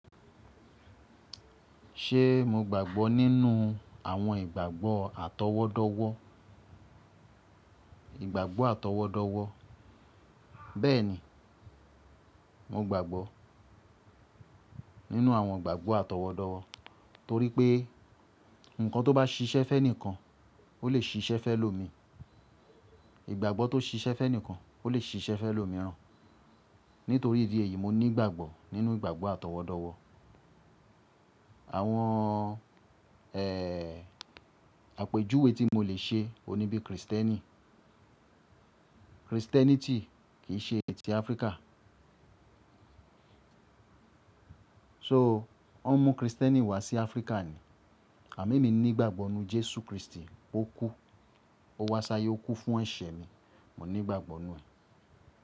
Ṣe mo gbàgbọ́ nínú àwọn ìgbàgbọ́ atọwọdọwọ? Ìgbàgbọ́ atọwọdọwọ. Bẹ́ẹ̀ni, mo gbàgbọ́ nínú àwọn ìgbàgbọ́ atọwọdọwọ torí pé ǹkan tó bá ṣiṣẹ́ fun ẹnìkan, ó lè ṣiṣẹ́ fun elomi. Ìgbàgbọ́ tó ṣiṣẹ́ fun ẹnìkan, ó lè ṣiṣẹ́ fun elomirán. Nítorí ìdí èyí, mo ní ìgbàgbọ́ nínú ìgbàgbọ́ atọwọdọwọ. Àwọn, ẹ́, àpèjúwe tí mo lè ṣe ohun ní bí Kristẹni. Christianity kìi ṣe ti Áfríkà. So wọ́n mú Kristẹni wá sí Áfríkà ni. Àmo emi ní ìgbàgbọ́ n nú Jésù Kristi, ó kú, ó wá sáyé ó kú fún ẹ̀ṣẹ̀ mi. Mo ní ìgbàgbọ́ n nù ẹ́